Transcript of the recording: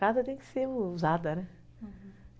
Casa tem que ser usada, né?